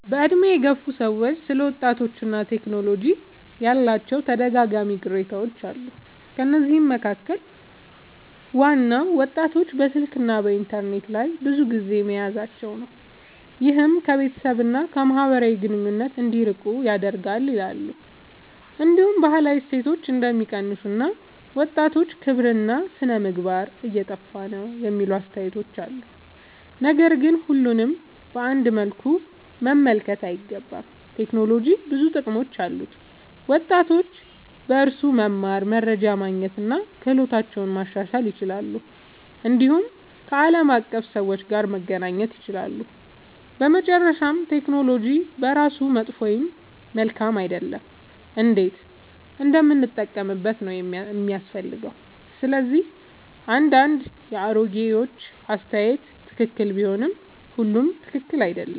በዕድሜ የገፉ ሰዎች ስለ ወጣቶችና ቴክኖሎጂ ያላቸው ተደጋጋሚ ቅሬታዎች አሉ። ከነዚህ መካከል ዋናው ወጣቶች በስልክና በኢንተርኔት ላይ ብዙ ጊዜ መያዛቸው ነው፤ ይህም ከቤተሰብ እና ከማህበራዊ ግንኙነት እንዲርቁ ያደርጋል ይላሉ። እንዲሁም ባህላዊ እሴቶች እንደሚቀንሱ እና ወጣቶች ክብርና ሥነ-ምግባር እየጠፋ ነው የሚሉ አስተያየቶች አሉ። ነገር ግን ሁሉንም በአንድ መልኩ መመልከት አይገባም። ቴክኖሎጂ ብዙ ጥቅሞች አሉት፤ ወጣቶች በእርሱ መማር፣ መረጃ ማግኘት እና ክህሎታቸውን ማሻሻል ይችላሉ። እንዲሁም ከዓለም አቀፍ ሰዎች ጋር መገናኘት ይችላሉ። በመጨረሻ ቴክኖሎጂ በራሱ መጥፎ ወይም መልካም አይደለም፤ እንዴት እንደምንጠቀምበት ነው የሚያስፈልገው። ስለዚህ አንዳንድ የአሮጌዎች አስተያየት ትክክል ቢሆንም ሁሉም ትክክል አይደለም።